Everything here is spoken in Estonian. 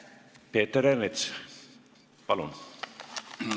Peeter Ernits, palun!